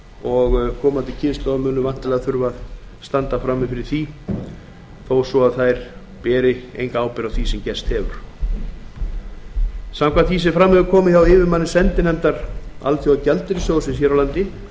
og bitna á komandi kynslóðum sem á engan hátt bera ábyrgð á því sem gerst hefur samkvæmt því sem fram hefur komið hjá yfirmanni sendinefndar alþjóðagjaldeyrissjóðsins hér á landi